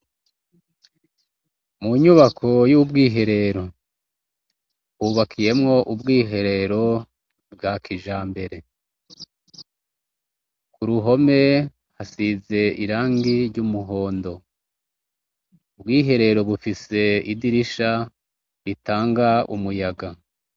Munyubako y' ubwiherero yubakiyemwo ubwiherero bwa kijambere kuruhome hasize irangi ry' umuhondo ubwiherero bufise idirisha ritanga umuyaga.